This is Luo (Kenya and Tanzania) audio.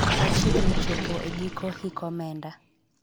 wachiegni chopo e giko hik omenda